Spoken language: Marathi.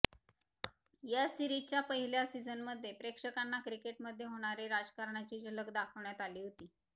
या सिरीजच्या पहिल्या सिझनमध्ये प्रेक्षकांना क्रिकेटमध्ये होणारे राजकारणाची झलक दाखवण्यात आली होती